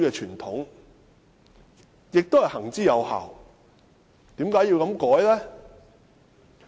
這是行之有效的，為何要修改呢？